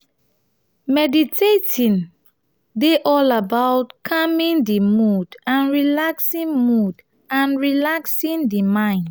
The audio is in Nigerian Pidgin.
meditating dey all about calming di mood and relaxing mood and relaxing di mind